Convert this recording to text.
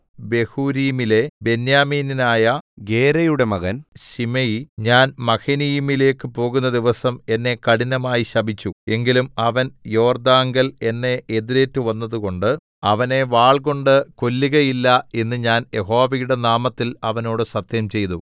ബഹൂരീമിലെ ബെന്യാമീന്യനായ ഗേരയുടെ മകൻ ശിമെയി ഞാൻ മഹനയീമിലേക്ക് പോകുന്ന ദിവസം എന്നെ കഠിനമായി ശപിച്ചു എങ്കിലും അവൻ യോർദ്ദാങ്കൽ എന്നെ എതിരേറ്റ് വന്നതുകൊണ്ട് അവനെ വാൾകൊണ്ട് കൊല്ലുകയില്ല എന്ന് ഞാൻ യഹോവയുടെ നാമത്തിൽ അവനോട് സത്യംചെയ്തു